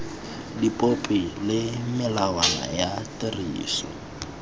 dipopi le melawana ya tiriso